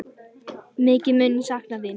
Mikið mun ég sakna þín.